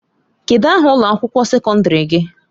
Kedu aha ụlọ akwụkwọ sekọndrị gị?